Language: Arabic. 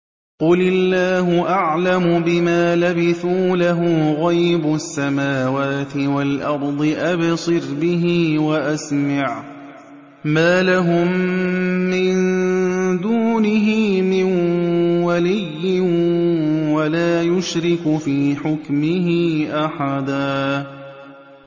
قُلِ اللَّهُ أَعْلَمُ بِمَا لَبِثُوا ۖ لَهُ غَيْبُ السَّمَاوَاتِ وَالْأَرْضِ ۖ أَبْصِرْ بِهِ وَأَسْمِعْ ۚ مَا لَهُم مِّن دُونِهِ مِن وَلِيٍّ وَلَا يُشْرِكُ فِي حُكْمِهِ أَحَدًا